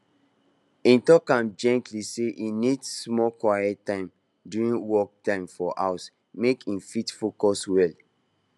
e talk am gently say e need small quiet time during work time for house make e fit focus well